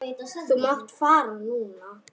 Þú mátt fara núna.